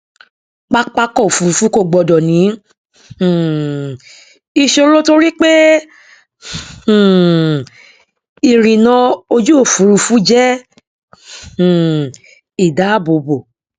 pápákọòfurufú kò gbọdọ ní um ìṣòro torí pé um ìrìnà ojúòfurufu jẹ um ìdáàbòbò